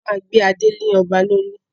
A máa gbé adé lé ọba lorí